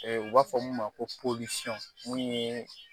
U b'a fɔ min ma ko mun ye